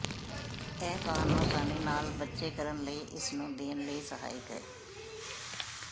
ਇਹ ਤੁਹਾਨੂੰ ਆਸਾਨੀ ਨਾਲ ਬੱਚੇ ਕਰਨ ਲਈ ਇਸ ਨੂੰ ਦੇਣ ਲਈ ਸਹਾਇਕ ਹੈ